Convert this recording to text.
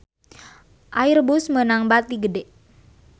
Airbus meunang bati gede